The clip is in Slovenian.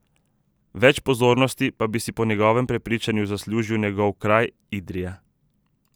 Več pozornosti pa bi si po njegovem prepričanju zaslužil njegov kraj, Idrija.